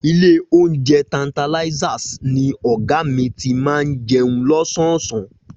Ilé oúnjẹ Tantalizers ni ọ̀gá mi ti máa ń jẹun lọ́sọ̀ọ̀sán